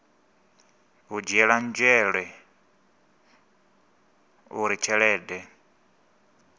u dzhielwa nzhele uri tshelede